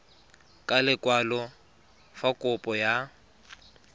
ka lekwalo fa kopo ya